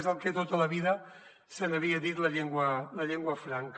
és el que tota la vida se n’havia dit la llengua franca